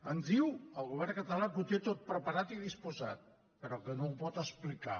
ens diu el govern català que ho té tot preparat i disposat però que no ho pot explicar